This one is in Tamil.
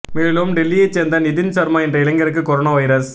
மேலும் டெல்லியை சேர்ந்த நிதின் ஷர்மா என்ற இளைஞருக்கு கொரோனா வைரஸ்